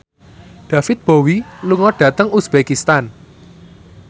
David Bowie lunga dhateng uzbekistan